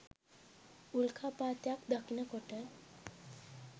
උල්කාපාතයක් දකිනකොට